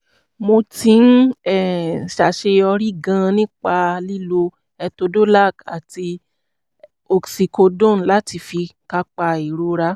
mo ti ń um ṣàṣeyọrí gan-an nípa lílo etodolac àti oxycodone láti fi kápá ìrora